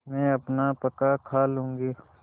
मैं अपना पकाखा लूँगी